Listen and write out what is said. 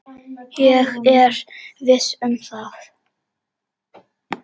Ég er viss um það.